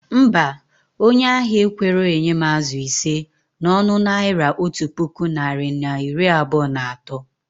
Mba, onye ahia ekwerọ enye m azụ ise na ọnụ Naira otu puku narị na iri abụọ na atọ